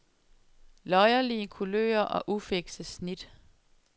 Løjerlige kulører og ufikse snit.